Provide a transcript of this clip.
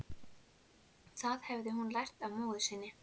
Það hafði hún lært af móður sinni.